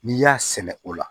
N'i y'a sɛnɛ o la